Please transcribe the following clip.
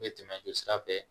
N bɛ tɛmɛ jɔ sira fɛ